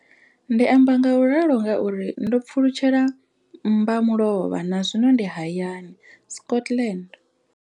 Ndi amba ngauralo nga uri ndo pfulutshela mmbamulovha na zwino ndi hayani, Scotland.